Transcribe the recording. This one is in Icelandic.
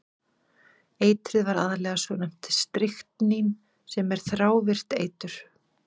Eitrið var aðallega svonefnt stryknín sem er þrávirkt eitur.